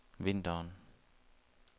vinteren